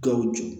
Gawo joon